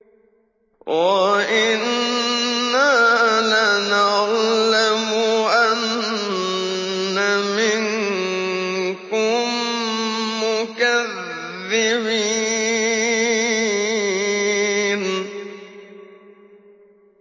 وَإِنَّا لَنَعْلَمُ أَنَّ مِنكُم مُّكَذِّبِينَ